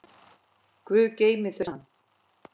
Guð geymi þau saman.